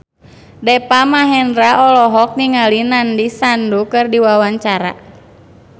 Deva Mahendra olohok ningali Nandish Sandhu keur diwawancara